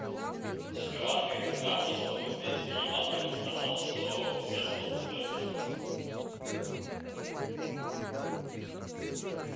шоколадка это правда что мы встретили ямаду и он сказал что вся сходка уже разошлась